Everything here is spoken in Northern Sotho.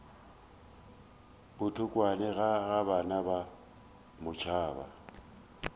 botokwane ga ba na matšoba